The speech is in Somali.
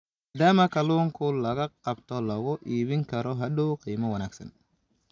maadaama kalluunka la qabto lagu iibin karo hadhow qiimo wanaagsan.